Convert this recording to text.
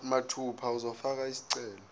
mathupha uzofaka isicelo